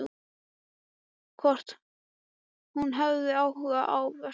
Hvort hún hafi áhuga á verkinu.